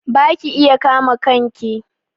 Ba ki iya kama kanki?